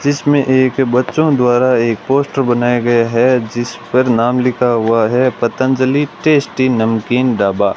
जिसमें एक बच्चों द्वारा एक पोस्टर बनाया गया है जिस पर नाम लिखा हुआ है पतंजलि टेस्टी नमकीन ढाबा।